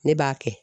Ne b'a kɛ